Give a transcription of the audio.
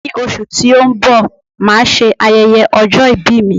Ní oṣù tí ó ń bọ̀, máà ṣe ayẹyẹ ọjọ́ ìbí mi